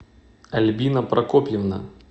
альбина прокопьевна